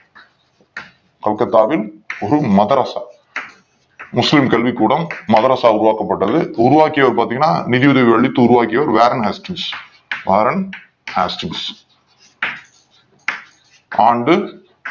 கொல்கத்தாவில் ஒரு மதரஸா முஸ்லிம் கல்வி கூடம் மதரஸா உருவாக்கப் பட்டது உருவாக்கியவர் பார்த் தீங்கன்னா நிதி உதவி அளித்து உருவாக்கியவர் Warren Hastus, Warren Hastus ஆண்டு